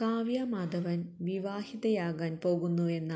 കാവ്യാമാധവന് വിവാഹിതയാകാന് പോകുന്നുവെന്ന